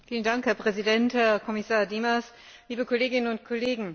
Herr Präsident, Herr Kommissar Dimas, liebe Kolleginnen und Kollegen!